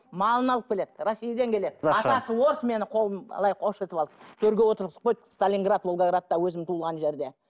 малын алып акеледі россиядан келеді менің қолым төрге отырғызып қойды сталинград волгоградта өзім туылған жерде